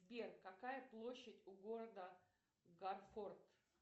сбер какая площадь у города гарфорд